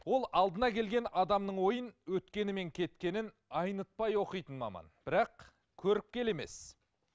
ол алдына келген адамның ойын өткені мен кеткенін айнытпай оқитын маман бірақ көріпкел емес